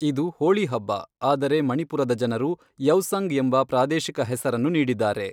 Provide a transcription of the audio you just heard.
ಇದು ಹೋಳಿ ಹಬ್ಬ ಆದರೆ ಮಣಿಪುರದ ಜನರು ಯೌಸಂಗ್ ಎಂಬ ಪ್ರಾದೇಶಿಕ ಹೆಸರನ್ನು ನೀಡಿದ್ದಾರೆ.